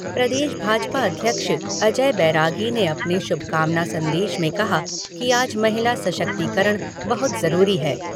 प्रदेश भाजपा अध्यक्ष अजय बैरागी ने अपने शुभकामना संदेश में कहा कि आज महिला सशक्तिकरण बहुत जरूरी है।